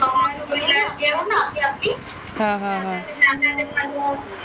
घेऊ ना आपली आपली